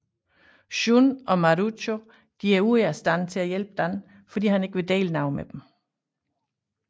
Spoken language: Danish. Shun og Marucho er ude af stand til at hjælpe Dan fordi han ikke vil dele noget med dem